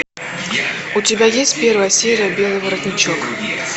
у тебя есть первая серия белый воротничок